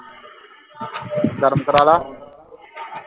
ਗਰਮ ਕਰਾ ਲਾ